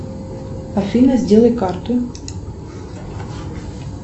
афина сделай карту